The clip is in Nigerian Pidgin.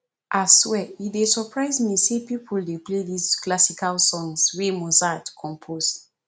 ah swear e dey surprise me sey people dey play dis classical songs wey mozart compose